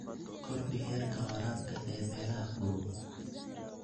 Kordhi heerka waraabka ee meelaha kulul.